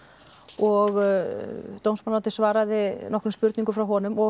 og dómsmálaráðuneytið svaraði nokkrum spurningum frá honum og